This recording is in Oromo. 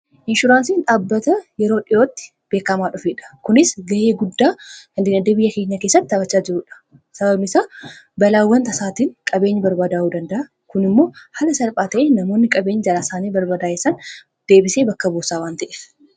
Inshuraansii dhaabbataa yeroo dhi'ootti beekkamaa dhufeedha. kunis ga'ee guddaa qaba.